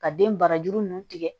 Ka den barajuru ninnu tigɛ